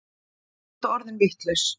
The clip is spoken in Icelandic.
Ertu orðinn vitlaus?